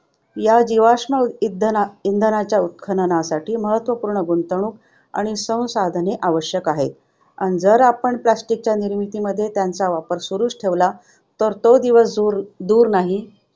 या जीवाश्म उ~ इंध~ इंधनाच्या उत्खननासाठी महत्त्वपूर्ण गुंतवणूक आणि संसाधने आवश्यक आहेत आणि जर आपण plastic च्या निर्मितीमध्ये त्यांचा वापर सुरू ठेवला तर तो दिवस दूर दूर नाही.